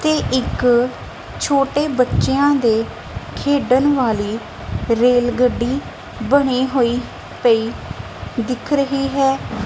ਤੇ ਇੱਕ ਛੋਟੇ ਬੱਚਿਆ ਦੇ ਖੇਡਣ ਵਾਲੀ ਰੇਲਗੱਡੀ ਬਣੀ ਹੋਈ ਪਈ ਦਿਖ ਰਹੀ ਹੈ।